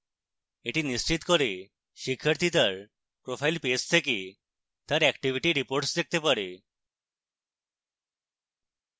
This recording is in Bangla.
এটি নিশ্চিত করে শিক্ষার্থী তার profile page থেকে তার activity reports দেখতে পারে